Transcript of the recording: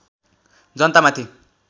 जनता माथि